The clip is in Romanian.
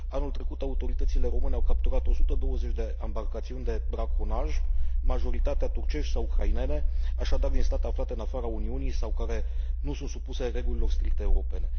Anul trecut, autoritățile române au capturat 120 de ambarcațiuni de braconaj, majoritatea turcești sau ucrainene, așadar din state aflate în afara Uniunii sau care nu sunt supuse regulilor stricte europene.